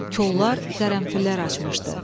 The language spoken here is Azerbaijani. Kollar qərənfillər açmışdı.